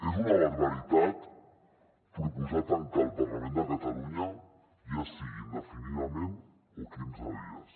és una barbaritat proposar tancar el parlament de catalunya ja sigui indefinidament o quinze dies